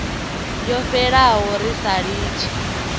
yo fhelaho ri sa litshi